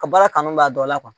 Ka baara kanu b'a dɔ la